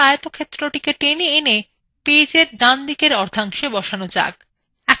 copied করা আয়তক্ষেত্রটিকে টেনে এনে পেজএর ডানদিকের অর্ধাংশে বসানো যাক